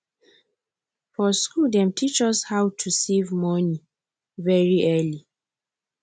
for school dem teach us how to save money very early